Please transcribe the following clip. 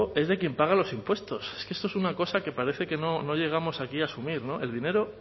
es de quién paga los impuestos es que esto es una cosa que parece que no llegamos aquí a asumir el dinero